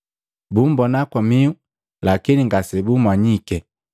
Bummbona kwa mihu, lakini ngase bummanyiki.